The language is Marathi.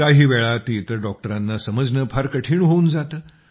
काहीवेळा ते इतर डॉक्टरांना समजणे फार कठीण होऊन जाते